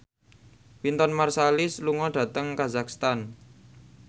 Wynton Marsalis lunga dhateng kazakhstan